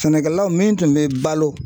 Sɛnɛkɛlaw min tun bɛ balo